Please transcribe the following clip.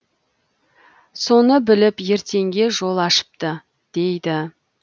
соны біліп ертеңге жол ашыпты дейді